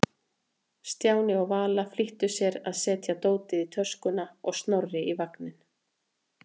Stjáni og Vala flýttu sér að setja dótið í töskuna og Snorra í vagninn.